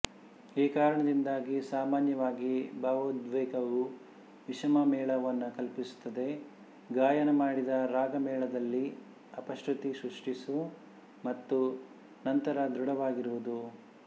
ಈ ಕಾರಣದಿಂದಾಗಿ ಸಾಮಾನ್ಯವಾಗಿ ಭಾವೋದ್ವೇಗವು ವಿಷಮಮೇಳವನ್ನು ಕಲ್ಪಿಸುತ್ತದೆ ಗಾಯನ ಮಾಡಿದ ರಾಗಮೇಳದಲ್ಲಿ ಅಪಶ್ರುತಿ ಸೃಷ್ಟಿಸು ಮತ್ತು ನಂತರ ದೃಢವಾಗಿರುವುದು